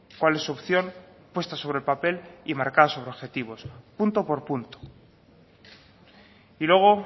cuál es su opción puesta sobre el papel y marcada sobre objetivos punto por punto y luego